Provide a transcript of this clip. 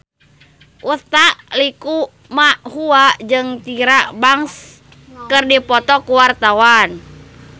Utha Likumahua jeung Tyra Banks keur dipoto ku wartawan